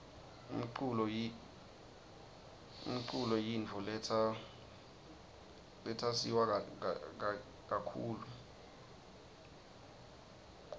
umcul yimifo letsa suwa kakitulu